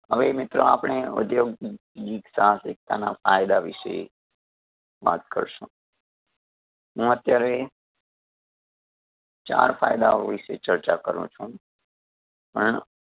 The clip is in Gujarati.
હવે મિત્રો આપણે ઉધ્યોગિકતા ના ફાયદા વિષે વાત કરશું. હું અત્યારે ચાર ફાયદાઓ વિષે ચર્ચા કરું છું પણ